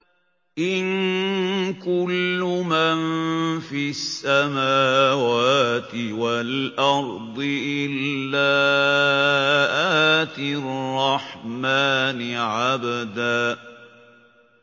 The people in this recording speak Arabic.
إِن كُلُّ مَن فِي السَّمَاوَاتِ وَالْأَرْضِ إِلَّا آتِي الرَّحْمَٰنِ عَبْدًا